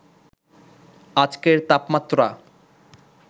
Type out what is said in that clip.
আজকের তাপমাত্রা